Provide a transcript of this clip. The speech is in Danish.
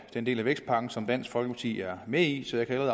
den del af vækstpakken som dansk folkeparti er med i så jeg kan